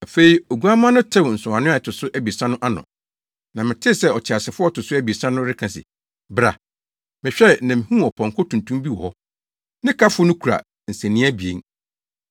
Afei Oguamma no tew nsɔwano a ɛto so abiɛsa no ano, na metee sɛ ɔteasefo a ɔto so abiɛsa no reka se, “Bra!” Mehwɛe, na mihuu ɔpɔnkɔ tuntum bi wɔ hɔ. Ne kafo no kura nsania abien.